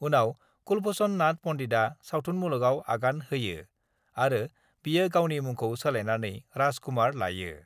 उनाव कुलभषण नाथ पन्डितआ सावथुन मुलुगआव आगान होयो आरो बियो गावनि मुंखौ सोलायनानै राज कुमार लायो।